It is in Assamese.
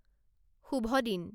শুভ দিন